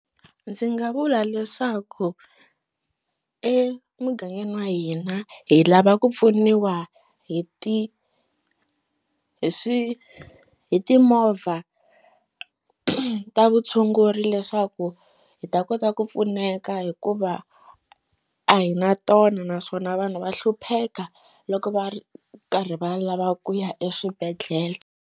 Ndzi nga vula leswaku emugangeni wa hina hi lava ku pfuniwa hi ti hi swi hi timovha ta vutshunguri leswaku hi ta kota ku pfuneka hikuva a hi na tona naswona vanhu va hlupheka loko va ri karhi va lava ku ya eswibedhlele.